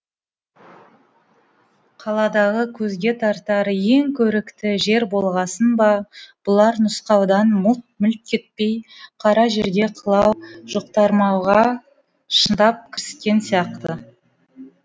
қаладағы көзге тартар ең көрікті жер болғасын ба бұлар нұсқаудан мүлт кетпей қара жерге қылау жұқтырмауға шындап кіріскен сияқты